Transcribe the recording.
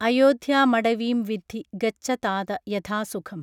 അയോദ്ധ്യാമടവീം വിദ്ധി ഗച്ഛ താത യഥാസുഖം